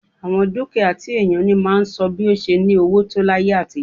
Àwọn dúkìá tí ènìyàn ní máa ń sọ bi ó ṣe ní owó tó láyé àtijọ́